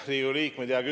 Riigikogu liikmed!